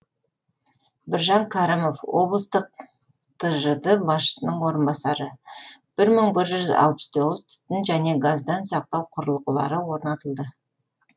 біржан кәрімов облыстық тжд басшысының орынбасары бір мың бір жүз алпыс тоғыз түтін және газдан сақтау құрылғылары орнатылды